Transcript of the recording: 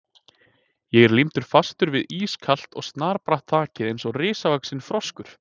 Ég er límdur fastur við ískalt og snarbratt þakið eins og risavaxinn froskur.